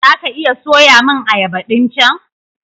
Za ka iya soya min ayaba ɗin chan?